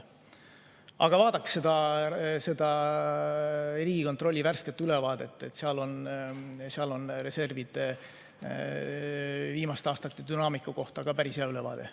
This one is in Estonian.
Aga vaadake seda Riigikontrolli värsket ülevaadet, seal on reservi viimaste aastate dünaamikast päris hea ülevaade.